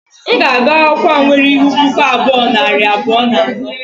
M ga-agụ akwụkwọ a nwere ihu puku abụọ, nari abụọ na anọ